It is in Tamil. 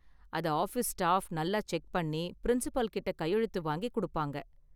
அத ஆஃபீஸ் ஸ்டாஃப் நல்லா செக் பண்ணி பிரின்சிபால் கிட்ட கையெழுத்து வாங்கிக் கொடுப்பாங்க.